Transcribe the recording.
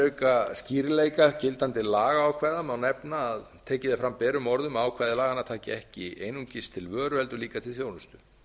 auka skýrleika gildandi lagaákvæða má nefna að tekið er fram berum orðum að ákvæði laganna taki ekki einungis til vöru heldur líka til þjónustu